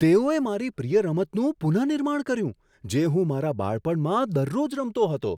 તેઓએ મારી પ્રિય રમતનું પુનઃનિર્માણ કર્યું, જે હું મારા બાળપણમાં દરરોજ રમતો હતો!